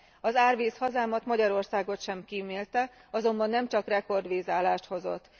Az árvíz hazámat, Magyarországot sem kímélte, azonban nem csak rekord vízállást hozott.